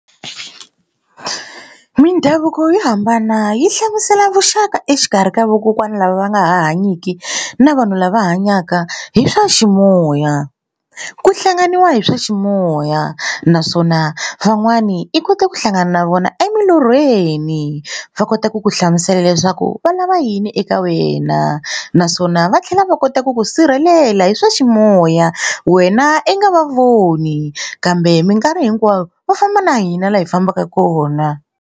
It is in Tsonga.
Mindhavuko yo hambana yi hlamusela vuxaka exikarhi ka vakokwana lava va nga hanyiki na vanhu lava hanyaka hi swa ximoya. Ku hlanganiwa hi swa ximoya naswona van'wani i kote ku hlangana na vona emilorhweni va kota ku ku hlamusela leswaku va lava yini eka wena naswona va tlhela va kota ku ku sirhelela hi swa ximoya wena i nga va voni kambe mikarhi hinkwayo va famba na hina laha hi fambaka kona.